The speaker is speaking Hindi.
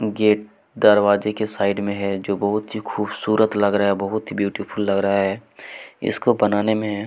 गेट के दरवाजे के साइड में है जो बहुत ही खूबसूरत लग रहा है बहुत ही ब्यूटीफुल लग रहा है इसको बनाने में--